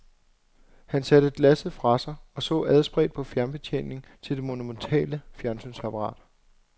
Han satte glasset fra sig og så adspredt på fjernbetjeningen til det monumentale fjernsynsapparat.